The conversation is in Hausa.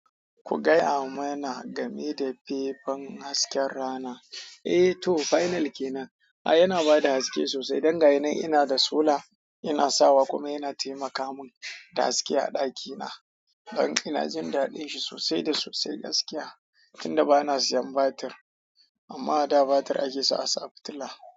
Ku gaya mana game da fefen hasken rana? Eh to final kenan. Ai yana bada haske sosai dan yinan ina da sola ina sawa kuma yana taimaka mun da haske a ɗakina. Dan ina jin daɗin shi sosai da sosai gaskiya tunda bana siyan batir. Amma ada batir ake sa a sa a fetila.